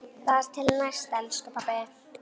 Þar til næst, elsku pabbi.